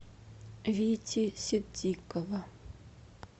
вити ситдикова